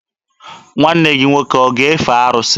Nwanne gị nwoke ọ ga-efe arụsị?